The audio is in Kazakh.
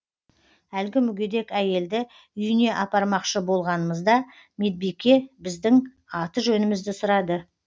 әлгі мүгедек әйелді үйіне апармақшы болғанымызда медбике біздің аты жөнімізді сұрады